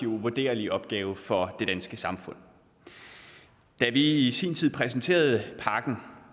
uvurderlig opgave for det danske samfund da vi i sin tid præsenterede pakken